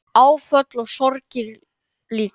Áföll og sorgir líka.